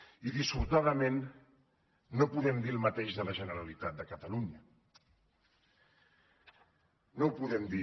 i dissortadament no podem dir el mateix de la generalitat de catalunya no ho podem dir